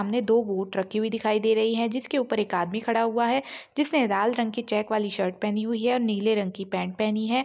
सामने दो बोट रखी हुई दिखाई दे रही है जिस के ऊपर एक आदमी खड़ा हुआ है जिस ने लाल रंग की चेक वाली शर्ट पहनी है और नीले रंग की पेंट पहनी है ।